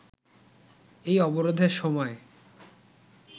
এই অবরোধের সময়